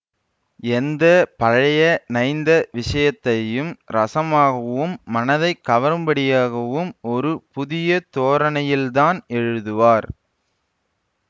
எந்த பழைய நைந்த விஷயத்தையும் ரஸமாகவும் மனதை கவரும்படியாகவும் ஒரு புதிய தோரணையில் தான் எழுதுவார்